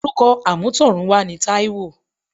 Orúkọ amutorunwa ni Taiwo.